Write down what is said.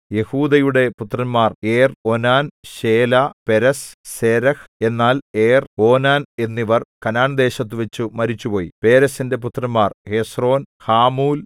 യെഹൂദയുടെ പുത്രന്മാർ Er Onan Shelah Perez Zerah എന്നാൽ ഏർ ഓനാൻ എന്നിവർ കനാൻദേശത്തുവച്ചു മരിച്ചുപോയി പേരെസിന്റെ പുത്രന്മാർ ഹെസ്രോൻ ഹാമൂൽ